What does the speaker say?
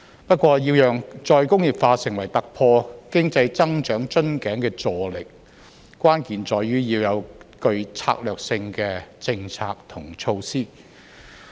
不過，要讓再工業化成為突破經濟增長瓶頸的助力，關鍵在於要有具策略性的政策及措施。